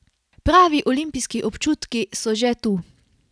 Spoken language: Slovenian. Pravi olimpijski občutki so že tu.